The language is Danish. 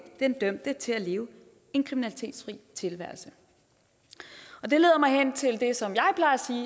den dømte til at leve en kriminalitetsfri tilværelse og det leder mig hen til det som